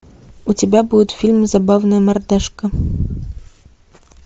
у тебя будет фильм забавная мордашка